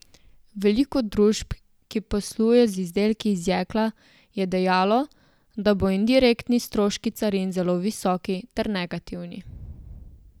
Veliko družb, ki posluje z izdelki iz jekla, je dejalo, da bodo indirektni stroški carin zelo visoki ter negativni.